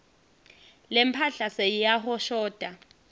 lemphahla seyiyahoshota